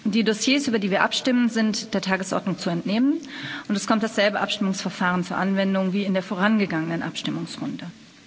Die Dossiers, über die wir abstimmen, sind der Tagesordnung zu entnehmen, und es kommt dasselbe Abstimmungsverfahren zur Anwendung wie in der vorangegangenen Abstimmungsrunde.